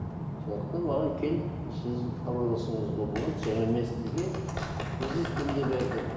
сондықтан маған келіп сіз хабарласуыңызға болады жаңа мен сізге визиткамды бердім